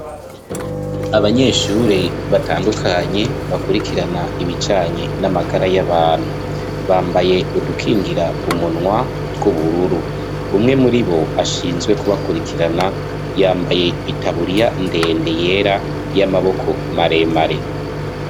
Abanyeshure batandukanye bakurikirana ibijanye n'amagara y'abantu. Bambaye udukingira umunwa tw'ubururu. Umwe muri bo ashinzwe kubakurirkirana yambaye itaburiya ndende yera y'amaboko maremare.